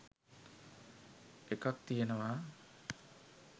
එකක්‌ තියෙනවා